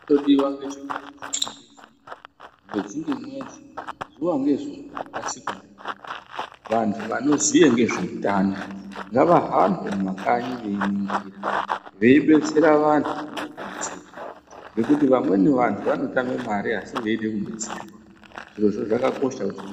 Chinongodiwa ngechekuti mwedzi ngemwedzi, zuwa ngezuwa, rakasikwa ndimarure, vanhu anoziye ngezveutano ngavahambe mumakanyi veiningira veidetsera vanhu vanoda kudetserwa ngekuti vamweni vantu vanotame mare asi veide kudetserwa. Zvirozvo zvakakosha.